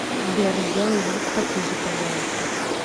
сбер сделай звук потише пожалуйста